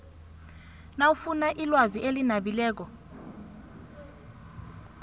nawufuna ilwazi elinabileko